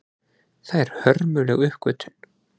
Það er hörmuleg uppgötvun.